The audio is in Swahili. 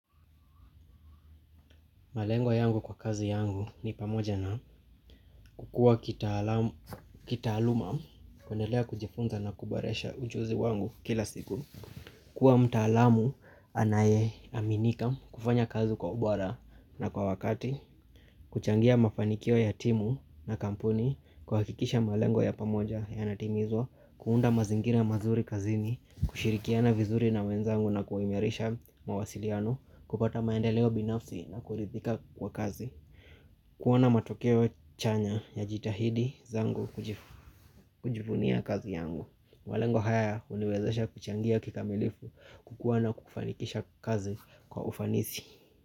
Malengo yangu kwa kazi yangu ni pamoja na kukua kitaaluma kundelea kujifunza na kuboresha ujuzi wangu kila siku Kua mtaalamu anayeaminika kufanya kazi kwa ubora na kwa wakati kuchangia mafanikio ya timu na kampuni kuhakikisha malengo ya pamoja yanatimizwa kuunda mazingira mazuri kazini, kushirikiana vizuri na wenzangu na kuimirisha mawasiliano kupata maendeleo binafsi na kuridhika kwa kazi kuona matokeo chanya najitahidi zangu kujivunia kazi yangu malengo haya huniwezesha kuchangia kikamilifu kukuwa na kufanikisha kazi kwa ufanisi.